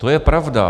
To je pravda.